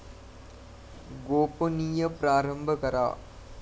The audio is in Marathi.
गोपणीय प्रारंभ करा